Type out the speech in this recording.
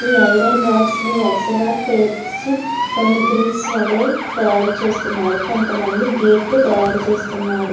ఈ iron rods ని వరుసగా పేర్చి కొన్ని గ్రిల్స్ వాలే తాయారు చేస్తున్నారు. కొంత మంది గాట్లు తాయారు చేస్తున్నారు.